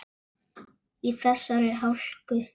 Í þessari hálku?